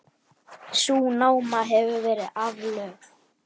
Sú náma hefur verið aflögð.